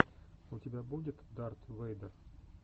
у тебя будет дарт вэйдер